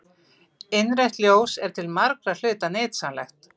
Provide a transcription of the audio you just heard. Innrautt ljós er til margra hluta nytsamlegt.